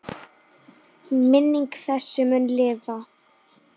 Minning þessi mun lifa.